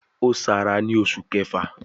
Ó Sara ni oṣù kẹfà